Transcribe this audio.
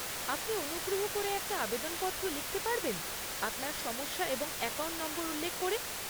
আপনি অনুগ্রহ করে একটা আবেদনপত্র লিখতে পারবেন আপনার সমস্যা এবং অ্যাকাউন্ট নম্বর উল্লেখ করে?